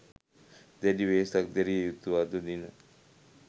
දැඩි වෙහෙසක් දැරිය යුතු අද දින